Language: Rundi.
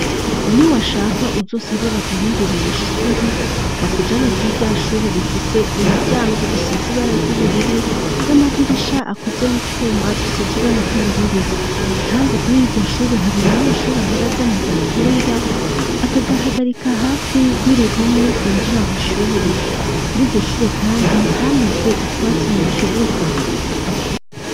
Niwashaka uzosabe baguhindurire ishuri, bakujane kuri ryashuri rifise imiryango isize ibara ry'ubururu n'amadirisha akoze mu twuma dusize ibara ry'ubururu, kandi kuri rurya shuri, hari umunyeshuri ahora azana agakinga akagahagarika hafi y'uruhome rwinjira mw'ishuri, kuri iryo shure kandi hameze utwatsi mu kibuga.